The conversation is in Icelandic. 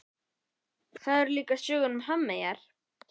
Það eru líka sögur um hafmeyjar.